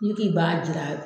Ni k'i b'a jira